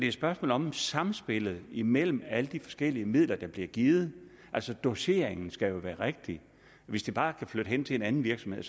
et spørgsmål om samspillet imellem alle de forskellige midler der bliver givet altså doseringen skal jo være rigtig hvis de bare kan flytte hen til en anden virksomhed